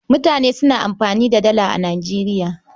Mutane suna amfani da Dala a Nijeriya.